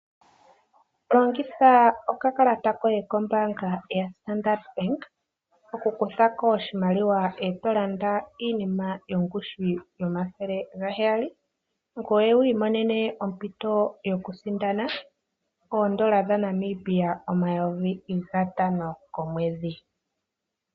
Longitha okakalata koye kombaanga yoStandard Bank, okukuthako oshimaliwa e to landa iinima yomathele gaheyali, ngweye wiimonene ompito yokusindana oondola dhaNamibia omayovi gatano komwedhi.